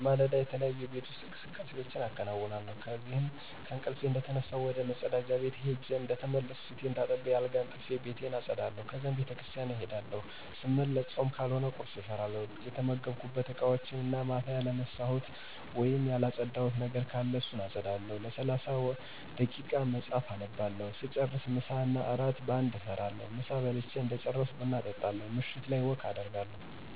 በማለዳ, የተለያዩ የቤት ውስጥ እንቅስቃሴዎች አከነውነለሁ እነዚህም :-ከእንቅልፊ እንደተነሳሁ ወደ መፀዳጃ ቤት ሄጀ እንደተመለስኩ ፊቴን ታጥቤ አልጋ አንጥፊ፣ ቤቴን አፀዳለሁ ከዚያም ቤተክርሰቲያን እሄዳለሁ ሰመለሰ ፆም ካልሆነ ቁርሰ እሰራለሁ፣ የተመገብኩበት እቃወችን እና ማታ ያላሰተካከልኩት ወይም ያለፀዳሁት ነገር ካለ እሱን አፀዳለሁ፣ ለሰላሳ ደይቃ መፀሐፍ አነባለሁ ሰጨርሰ ምሳ እና እራት በአንድ እሰራለሁ፣ ምሳ በልች እደጨረሰኩ ብና እጣለሁ ምሸት ላይ ወክ አደርጋለሁ።